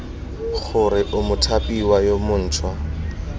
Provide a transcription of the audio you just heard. gore o mothapiwa yo montšhwa